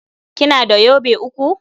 Kina da yobe uku?